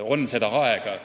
On seda aega.